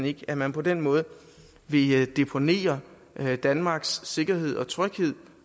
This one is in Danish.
ikke at man på den måde vil deponere danmarks sikkerhed og tryghed